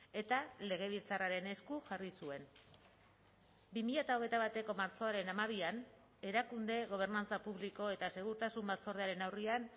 eta legebiltzarraren esku jarri zuen bi mila hogeita bateko martxoaren hamabian erakunde gobernantza publiko eta segurtasun batzordearen aurrean